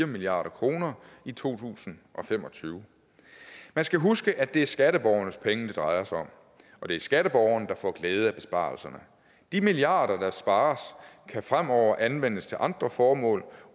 milliard kroner i to tusind og fem og tyve man skal huske at det er skatteborgernes penge det drejer sig om og det er skatteborgerne der får glæde af besparelserne de milliarder der spares kan fremover anvendes til andre formål